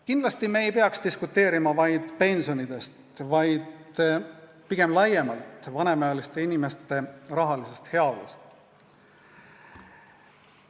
Kindlasti ei peaks me diskuteerima ainult pensionide üle, vaid arutlema pigem laiemalt vanemaealiste inimeste rahalise heaolu teemal.